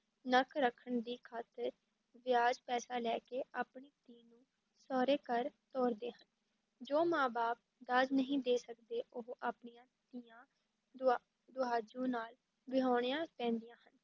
ਨੱਕ ਰੱਖਣ ਦੀ ਖ਼ਾਤਰ ਵਿਆਜ ਪੈਸਾ ਲੈ ਕੇ ਆਪਣੀ ਧੀ ਨੂੰ ਸਹੁਰੇ ਘਰ-ਤੋਰਦੇ ਹਨ, ਜੋ ਮਾਂ ਬਾਪ ਦਾਜ ਨਹੀਂ ਦੇ ਸਕਦੇ ਉਹ ਆਪਣੀਆਂ ਧੀਆਂ ਦੁਆ ਦੁਹਾਜੂ ਨਾਲ ਵਿਆਹੁਣੀਆਂ ਪੈਂਦੀਆਂ ਹਨ।